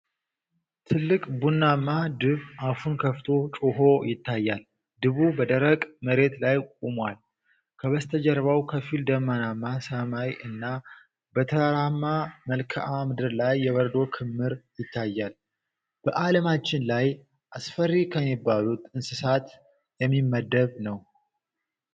ትልቅ ቡናማ ድብ አፉን ከፍቶ ጮኾ ይታያል። ድቡ በደረቅ መሬት ላይ ቆሟል፤ ከበስተጀርባው ከፊል ደመናማ ሰማይ እና በተራራማ መልክዓ ምድር ላይ የበረዶ ክምር ይታያል። በ አለማችን ላይ አስፈሪ ከሚባሉት እንስሳት የሚመደብ ነው።